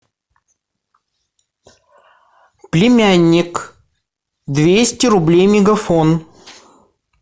племянник двести рублей мегафон